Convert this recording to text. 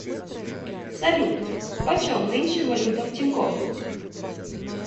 салют почем нынче валюта в тинькоф